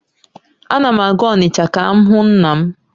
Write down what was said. Ana m aga Onicha ka m hụ nna m.